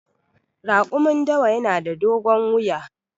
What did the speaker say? Raƙumin dawa yana da dogon wuya.